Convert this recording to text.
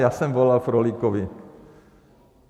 Já jsem volal Frolíkovi.